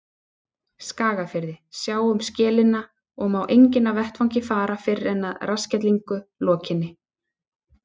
Skagafirði, sjá um skellina, og má enginn af vettvangi fara fyrr en að rassskellingu lokinni.